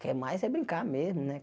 Quer mais é brincar mesmo, né?